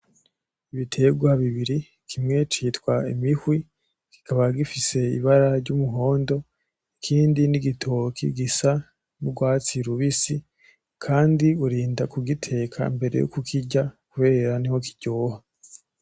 Ibiterwa bibiri kimwe c'itwa imihwi kikaba gifise ibara ry,umuhondo ikindi n,igitoki gisa n'urwatsi rubisi kandi wirinda kugiteka mbere yuko ukirya kubera niho kiryoha.